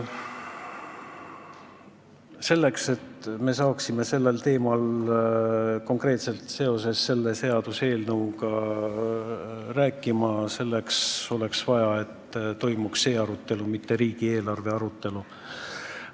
Selleks, et me saaksime konkreetselt sellel teemal, sellest seaduseelnõust rääkida, oleks vaja eraldi arutelu, mitte riigieelarve arutelu.